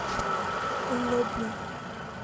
лобня